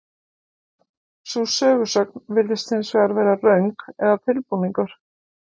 Sú sögusögn virðist hins vegar vera röng eða tilbúningur.